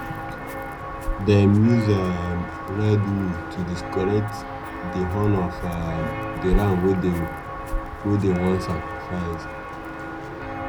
dem use um red wool to decorate di horn of um di ram wey dem wey dem wan sacrifice.